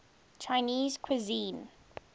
chinese cuisine